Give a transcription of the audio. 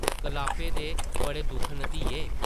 कलापे दे बड़े दुख न, धिये ।